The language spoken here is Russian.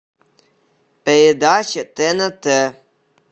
передача тнт